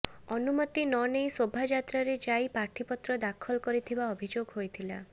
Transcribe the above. ଅନୁମତି ନ ନେଇ ଶୋଭାଯାତ୍ରାରେ ଯାଇ ପ୍ରାର୍ଥୀପତ୍ର ଦାଖଲ କରିଥିବା ଅଭିଯୋଗ ହୋଇଥିଲା